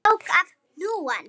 Tók af hnúann.